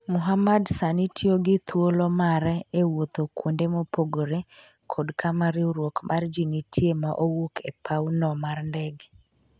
Muhamad sani tiyo gi thuolo mare e wuoth kuonde mopogore ​​ kod kama riwruok mar ji nitie ma owuok e paw no mar ndege